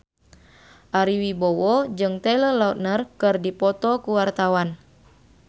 Ari Wibowo jeung Taylor Lautner keur dipoto ku wartawan